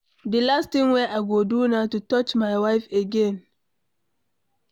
The last thing wey I go do na to touch my wife again.